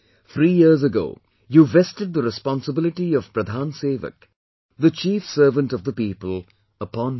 Three years ago you vested the responsibility of 'Pradhan Sewak' the Chief Servant of the People upon me